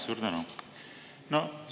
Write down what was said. Suur tänu!